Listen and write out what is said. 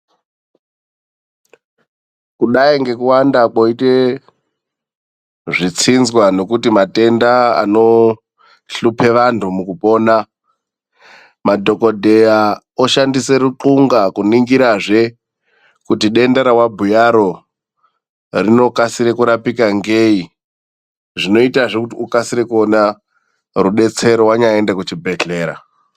Kudai ngekuwanda kwoite zvitsinzwa nekuti matenda anohlupe vandhu mukupona, madhokodheya oshandise ruxunga kuningirazve kuti denda rewabhuyaro rinokasire kurapika ngei. Zvinoitazve kuti ukasire kuona rudetsero wanyaende kuchibhedhlera.